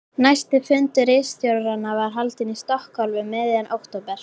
Næsti fundur ritstjóranna var haldinn í Stokkhólmi um miðjan október